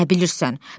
Nə bilirsən?